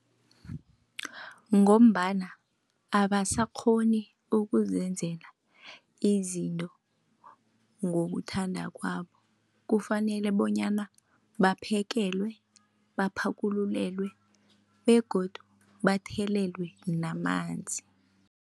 Ngombana abasakghoni ukuzenzela izinto ngokuthanda kwabo kufanele bonyana babaphekelwe, baphakululelwe begodu bathelelwe namanzi.